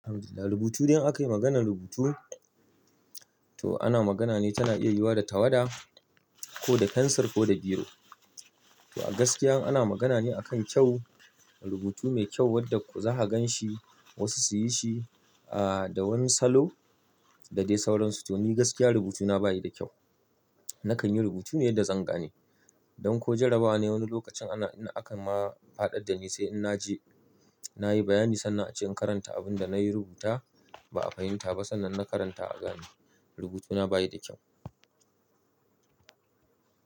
Alhamdulillah rubutu idan aka yi maganar rubutu to ana magana ne tana iya yiwa da tawada ko da pensil ko da biro. To a gaskiya ana magana ne akan kyau, rubutu mai kyau wadda za ka gan shi wasu su yi shi ah da wani salo da dai sauransu. To ni gaskiya rubutuna bayi da kyau. Nakan yi rubutu ne yadda zan gane. Don ko jarabawa ne wani lokacin ana in aka ma faɗar da ni sai in na je na yi bayani sannan a ce in karanta abin da na yi rubuta ba a fahimta ba sannan na karanta a gane rubutuna bayi da kyau.